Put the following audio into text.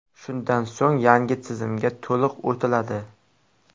Shundan so‘ng yangi tizimga to‘liq o‘tiladi.